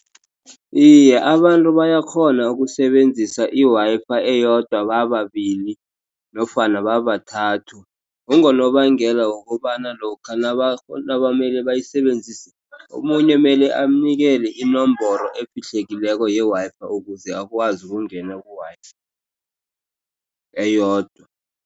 Iye, abantu bayakghona ukusebenzisa i-Wi-Fi eyodwa bababili nofana babathathu. Kungonobangela wokobana lokha nabamele bayisebenzise omunye mele amnikele inomboro efihlekileko ye-Wi-Fi ukuze akwazi ukungena ku-Wi-Fi eyodwa.